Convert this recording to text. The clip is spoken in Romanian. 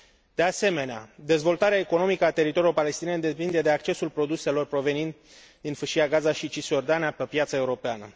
De asemenea, dezvoltarea economică a teritoriilor palestiniene depinde de accesul produselor provenind din Fâșia Gaza și Cisiordania pe piața europeană.